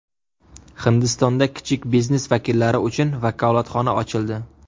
Hindistonda kichik biznes vakillari uchun vakolatxona ochildi.